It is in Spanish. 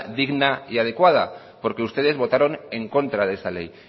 digna y adecuada porque ustedes votaron en contra de esa ley